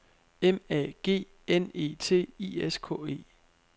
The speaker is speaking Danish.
M A G N E T I S K E